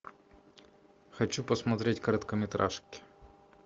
хочу посмотреть короткометражки